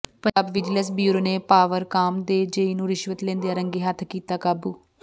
Punjab vigilance bureau ਨੇ ਪਾਵਰਕਾਮ ਦੇ JE ਨੂੰ ਰਿਸ਼ਵਤ ਲੈਂਦਿਆਂ ਰੰਗੇ ਹੱਥੀ ਕੀਤਾ ਕਾਬੂ